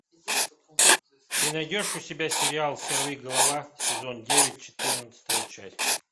ты найдешь у себя сериал сорвиголова сезон девять четырнадцатая часть